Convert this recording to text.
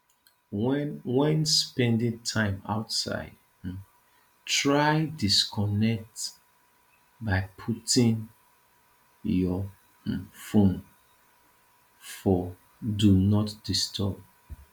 when when spending time outside um try disconnect by putting your um phone for do not disturb